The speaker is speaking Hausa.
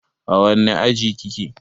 A wanne aji kike?